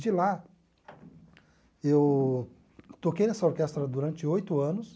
De lá, eu toquei nessa orquestra durante oito anos.